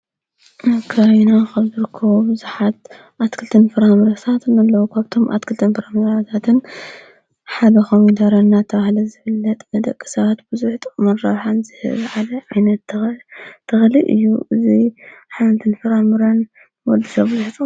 ኣብ ከባቢና ካብ ዝርከቡ ብዙሓት ኣትክልቲን ፍራምረታትን ሓደ ኮይኑ ተረን እናተባሃለ ዝፍለጥ ንደቂ ሰባት ብዙሕ ጥቅሚን ረብሓን ዝህብ ዓይነት ተክሊ እዩ።